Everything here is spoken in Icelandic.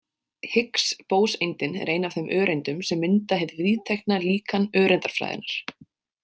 Higgs-bóseindin er ein af þeim öreindum sem mynda hið viðtekna líkan öreindafræðinnar.